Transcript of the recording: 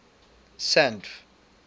sandf